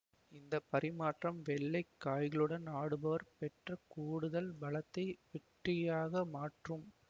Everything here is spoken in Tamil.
இந்த பரிமாற்றம் வெள்ளை காய்களுடன் ஆடுபவர் பெற்ற கூடுதல் பலத்தை வெற்றியாக மாற்றும்